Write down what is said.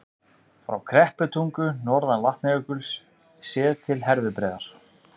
Frá Krepputungu, norðan Vatnajökuls, séð til Herðubreiðar.